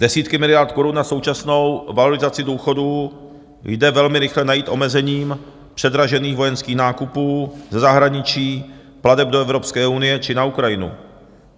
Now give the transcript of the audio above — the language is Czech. Desítky miliard korun na současnou valorizaci důchodů jde velmi rychle najít omezením předražených vojenských nákupů ze zahraničí, plateb do Evropské unie či na Ukrajinu.